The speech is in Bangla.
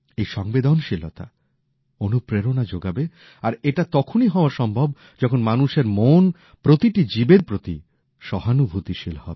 এই সংবেদনশীলতা অনুপ্রেরণা যোগাবে আর এটা তখনই হওয়া সম্ভব যখন মানুষের মন প্রতিটি জীবের প্রতি সহানুভূতিশীল হবে